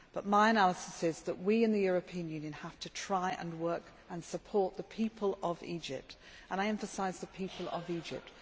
My analysis is that we in the European Union have to try to work and support the people of Egypt and I emphasise the people of Egypt.